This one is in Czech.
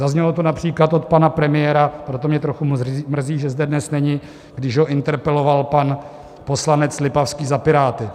Zaznělo to například od pana premiéra, proto mě trochu mrzí, že zde dnes není, když ho interpeloval pan poslanec Lipavský za Piráty.